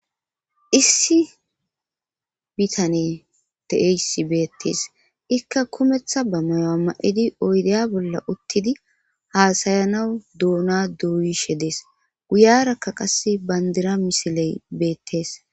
issi bitane de7eysi beettees ikka kumeththa ba mayoa ma7idi oydeya bolla uttidi haasayanawu duuna duuyishe dees guyarakka qas bayndira misiley beettees